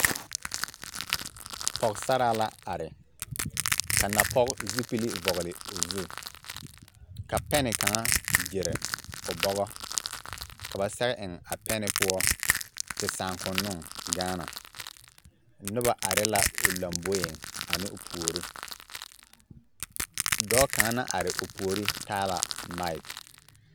Pɔɡesaraa la are ka napɔɡe zupili vɔɡele o zu ka pɛn kaŋa ɡyere o bɔɡɔ ka ba sɛɡe eŋ a pɛne poɔ te sããkonnoo gaana noba are la o lamboe ane o puori dɔɔ kaŋ la are o puori a tara maake.